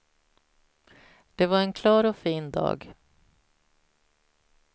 Det var en klar och fin dag.